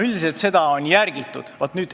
Üldjoontes on seda järgitud.